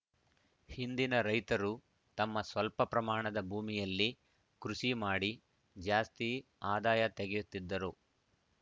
ಹಿಂದಿನ ರೈತರು ತಮ್ಮ ಸ್ವಲ್ಪ ಪ್ರಮಾಣದ ಭೂಮಿಯಲ್ಲಿ ಕೃಷಿ ಮಾಡಿ ಜಾಸ್ತಿ ಆದಾಯ ತೆಗೆಯುತ್ತಿದ್ದರು